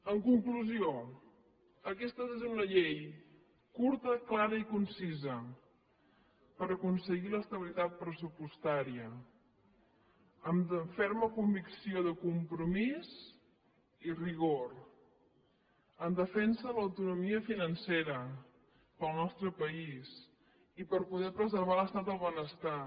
en conclusió aquesta ha de ser una llei curta clara i concisa per aconseguir l’estabilitat pressupostària amb ferma convicció de compromís i rigor en defensa de l’autonomia financera per al nostre país i per poder preservar l’estat de benestar